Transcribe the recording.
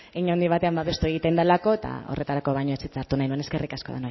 hein handi batean babestu egiten delako eta horretarako baino ez hitza hartu nahi nuen eskerrik asko